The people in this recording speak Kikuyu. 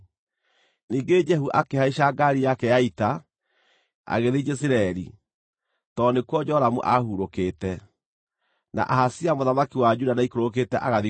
Ningĩ Jehu akĩhaica ngaari yake ya ita, agĩthiĩ Jezireeli, tondũ nĩkuo Joramu aahurũkĩte, na Ahazia mũthamaki wa Juda nĩaikũrũkĩte agathiĩ kũmũrora.